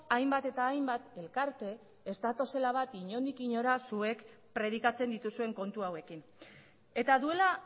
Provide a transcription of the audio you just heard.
hainbat eta hainbat elkarte ez datozela bat inondik inora zuek predikatzen dituzuen kontu hauekin eta duela